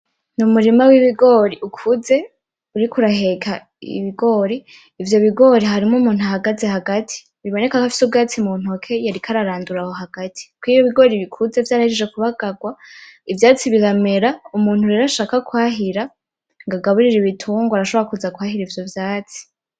N'umurima w’ibigori ukuze, uriko uraheka ibigori. Ivyo bigori harimo umuntu ahagaze hagati, biboneka ko afise ubwatsi muntoki yariko ararandura aho hagati. Kuko iyo ibigori bikuze vyarahejeje kubagagwa, ivyatsi biramera, umuntu rero ashaka kwahira, ngo agaburire ibitungwa arashobora kuza kwahira ivyo vyatsi.